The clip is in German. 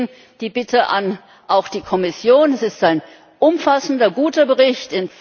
Deswegen die Bitte an die Kommission Es ist ein umfassender, guter Bericht.